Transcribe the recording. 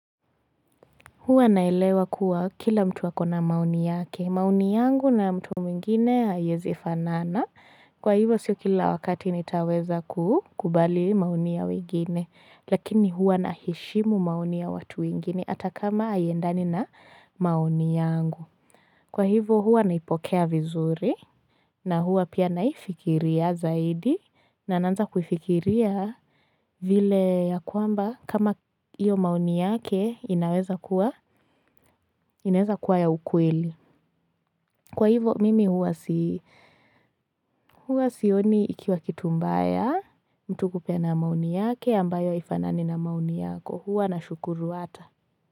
Hua nalewa kuwa kila mtu ako na maoni yake. Maoni yangu na mtu mwingine haiezifanana. Kwa hivo siyo kila wakati nitaweza kubali maoni ya wengine. Lakini hua naheshimu maoni ya watu wengine. Hata kama haiendani na maoni yangu. Kwa hivo hua naipokea vizuri. Na hua pia naifikiria zaidi. Na anaanza kufikiria vile ya kwamba kama iyo maoni yake inaweza kuwa. Ineza kuwa ya ukweli. Kwa hivo mimi huwa sioni ikiwa kitumbaya mtu kupe na maoni yake ambayo haifanani na maoni yako. Huwa na shukuru hata.